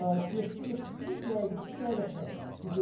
Hə, getdi heç bir dəqiqə, iki dəqiqə çəkmədi.